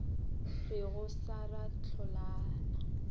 re go sa ra hlolana